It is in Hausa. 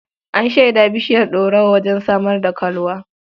An shaida bishiyar ɗorawa wajen samar da kalwa.